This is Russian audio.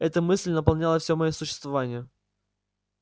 эта мысль наполняла всё моё существование